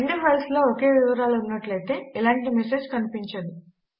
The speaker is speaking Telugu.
రెండు ఫైల్స్ లో ఒకే వివరాలు ఉన్నట్లయితే ఎలాంటి మెసేజ్ కనిపించదు